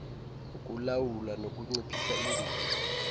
ukulawula nokunciphisa ingozi